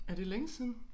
Er det længe siden